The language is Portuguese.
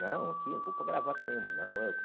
Não, aqui, não vou pôr gravata nenhuma, não, eu...